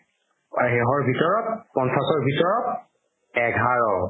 ভিতৰত পঞ্চাশ ভিতৰত এঘাৰ